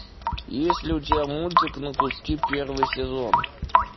есть ли у тебя мультик на куски первый сезон